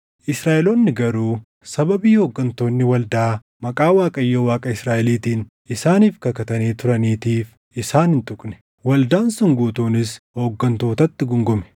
Israaʼeloonni garuu sababii hooggantoonni waldaa maqaa Waaqayyo Waaqa Israaʼeliitiin isaaniif kakatanii turaniitiif isaan hin tuqne. Waldaan sun guutuunis hooggantootatti guungume;